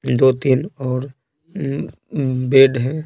दो तीन और बेड है।